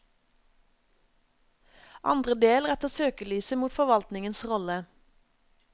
Andre del retter søkelyset mot forvaltningens rolle.